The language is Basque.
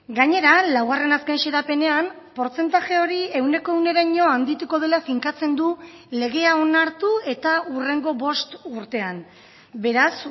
gainera laugarren azken xedapenean portzentaje hori ehuneko ehuneraino handituko dela finkatzen du legea onartu eta hurrengo bost urtean beraz